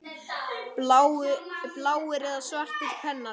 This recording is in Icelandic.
Bláir eða svartir pennar?